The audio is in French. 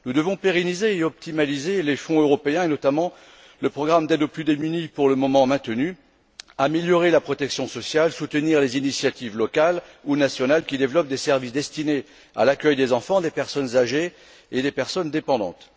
Nous devons pérenniser et optimiser les fonds européens, et notamment le programme d'aide aux plus démunis pour le moment maintenu, améliorer la protection sociale, soutenir les initiatives locales ou nationales qui développent des services destinés à l'accueil des enfants, des personnes âgées et des personnes dépendantes.